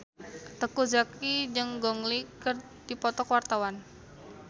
Teuku Zacky jeung Gong Li keur dipoto ku wartawan